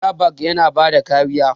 Airbag yana bada kariya.